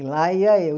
E lá ia eu.